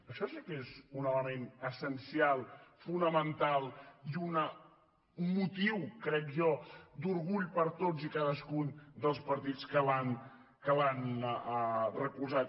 això sí que és un element essencial fonamental i un motiu crec jo d’orgull per a tots i cadascun dels partits que l’han recolzat